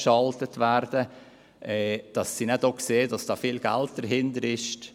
Damit sehen sie denn auch, dass sehr viel Geld dahintersteckt.